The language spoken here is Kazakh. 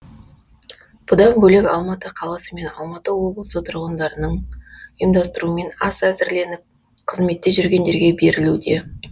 бұдан бөлек алматы қаласы мен алматы облысы және тұрғындардың ұйымдастыруымен ас әзірленіп қызметте жүргендерге берілуде